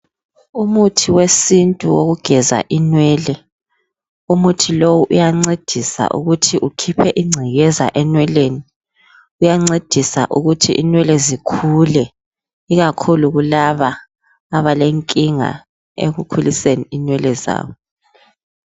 Umuthi wesintu wokugeza inwele. Umuthi lowu uyancedisa ukuthi ukhiphe ingcekeza enweleni, uyancedisa ukuthi inwele zikhule ikakhulu kulaba abalenkinga ekukhuliseni inwele zabo.